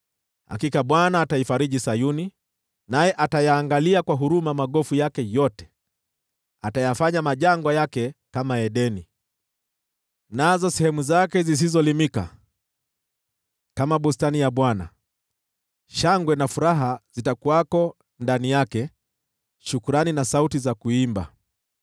Hakika Bwana ataifariji Sayuni, naye atayaangalia kwa huruma magofu yake yote; atayafanya majangwa yake yawe kama Edeni, nazo sehemu zake zisizolimika ziwe kama bustani ya Bwana . Shangwe na furaha zitakuwako ndani yake, shukrani na sauti za kuimba.